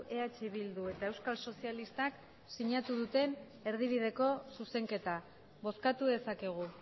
eh bildu eta euskal sozialistak sinatu duten erdibideko zuzenketa bozkatu dezakegu